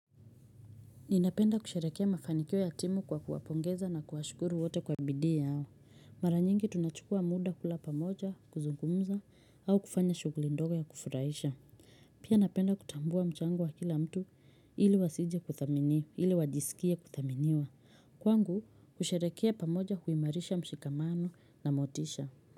Ninapenda kusherekea mafanikio ya timu kwa kuwapongeza na kuwashukuru wote kwa bidii yao. Mara nyingi tunachukua muda kula pamoja, kuzungumza, au kufanya shuguli ndogo ya kufuraisha. Pia napenda kutambua mchango wa kila mtu ili wasije kuthaminiwa, ili wajisikie kuthaminiwa. Kwangu, kusheherekea pamoja huimarisha mshikamano na motisha.